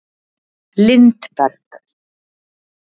Lindberg